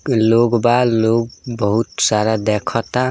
लोग बा लोग बहुत सारा देखता।